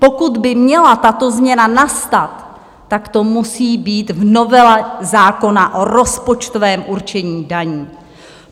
Pokud by měla tato změna nastat, tak to musí být v novele zákona o rozpočtovém určení daní.